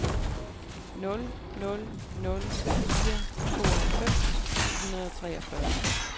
nul nul nul fire tooghalvfems syv hundrede og treogfyrre